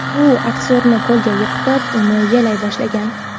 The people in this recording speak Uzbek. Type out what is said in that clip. U aktyorni polga yiqitib, uni yalay boshlagan.